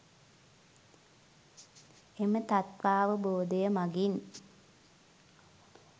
එම තත්ත්වාවබෝධය මගින්